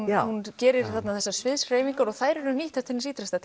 já hún gerir þessar sviðshreyfingar og þær eru nýttar til hins ítrasta